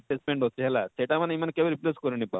placement ଅଛେ ହେଲା ସେଟା ମାନେ ଇମାନେ କେବେ repress କରି ନାଇଁ ପାରନ